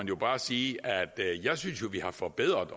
bare sige at jeg synes vi har forbedret